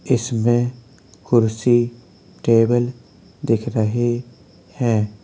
इसमें कुर्सी टेबल दिख रहे हैं।